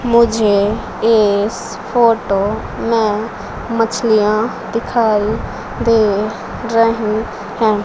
मुझे इस फोटो में मछलियां दिखाई दे रही हैं।